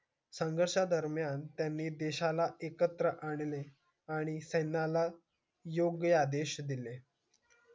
संघर्षां दरमायण त्यानी देशाला एकत्र आणले आणि योग्य आदेश दिले